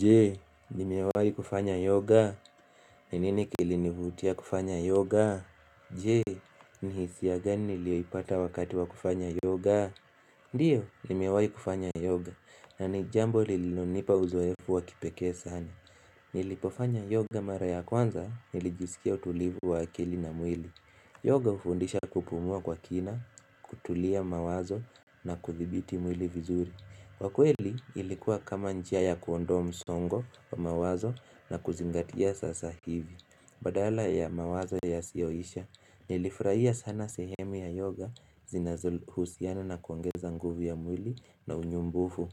Je? Nimewahi kufanya yoga? Ni nini kilinivutia kufanya yoga? Je? Ni hisia gani nilio ipata wakati wa kufanya yoga? Ndiyo, nimewayi kufanya yoga. Na ni jambo lililo nipa uzoefu wa kipekee sana. Nilipofanya yoga mara ya kwanza nilijiskia utulivu wa akili na mwili. Yoga hufundisha kupumua kwa kina, kutuliza mawazo na kuthibiti mwili vizuri. Kwa kweli ilikuwa kama njia ya kuondoa msongo wa mawazo na kuzingatia sasa hivi Badala ya mawazo yasiyoisha Nilifurahia sana sehemu ya yoga zinazo husiana na kuongeza nguvu ya mwili na unyumbufu